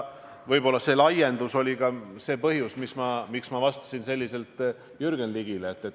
Võib-olla see laiendus oli ka see põhjus, miks ma vastasin selliselt Jürgen Ligile.